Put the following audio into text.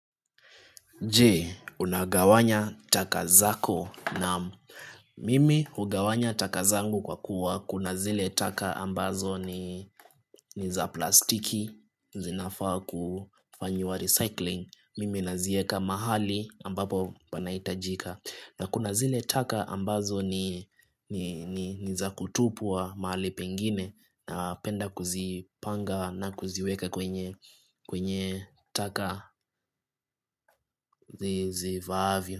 Je unagawanya taka zako naam mimi hugawanya taka zangu kwa kuwa kuna zile taka ambazo ni za plastiki zinafaa kufanywa recycling mimi nazieka mahali ambapo panahitajika na kuna zile taka ambazo ni za kutupwa mahali pengine napenda kuzipanga na kuziweka kwenye kwenye taka zifaavyo.